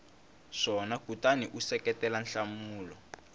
swona kutani u seketela nhlamulo